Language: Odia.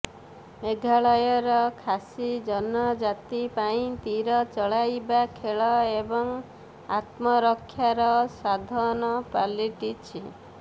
ମେଘାଳୟର ଖାସି ଜନଜାତି ପାଇଁ ତୀର ଚଳାଇବା ଖେଳ ଏବଂ ଆତ୍ମରକ୍ଷାର ସାଧନ ପାଲିଟିଛି